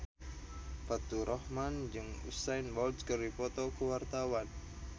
Faturrahman jeung Usain Bolt keur dipoto ku wartawan